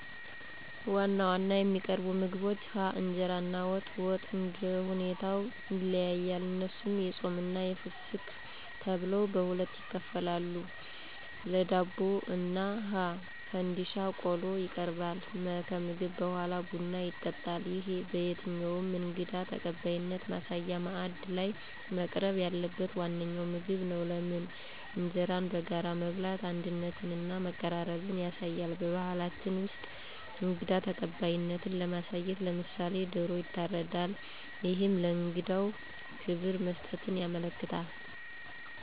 1. ዋና ዋና የሚቀርቡ ምግቦች ሀ. እንጀራ እና ወጥ፦ ወጡ እንደሁኔታው ይለያያል እነሱም የፆምና የፍስክት ተብለው በሁለት ይከፈላሉ ለ. ዳቦ እና ሐ. ፈንድሻ ቆሎ ይቀርባል መ. ከምግብ በሗላ ቡና ይጠጣል ይህ በየትኛውም እንግዳ ተቀባይነት ማሳያ ማዕድ ላይ መቅረብ ያለበት ዋነኛው ምግብ ነው። * ለምን? እንጀራን በጋራ መብላት አንድነትንና መቀራረብን ያሳያል። *በባህላችን ውስጥ እንግዳ ተቀባይነትን ለማሳየት *ለምሳሌ፦ ዶሮ ይታረዳል እሄም ለእንግዳው ክብር መስጠትን ያመለክታል።